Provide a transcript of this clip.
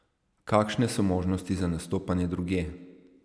Kakšne so možnosti za nastopanje drugje?